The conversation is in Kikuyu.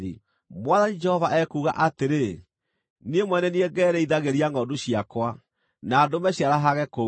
Mwathani Jehova ekuuga atĩrĩ, Niĩ mwene nĩ niĩ ngerĩithagĩria ngʼondu ciakwa, na ndũme ciarahage kũu.